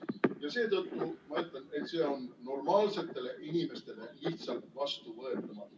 Ja seetõttu ma ütlen, et see on normaalsetele inimestele lihtsalt vastuvõetamatu.